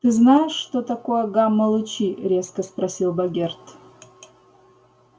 ты знаешь что такое гамма-лучи резко спросил богерт